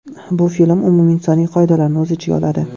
Bu film umuminsoniy qoidalarni o‘z ichiga oladi.